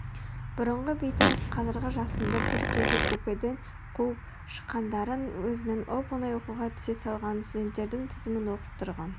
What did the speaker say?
бұрынғы бейтаныс қазіргі жасынды бір кезде купеден қуып шыққандарын өзінің оп-оңай оқуға түсе салғанын студенттердің тізімін оқып тұрған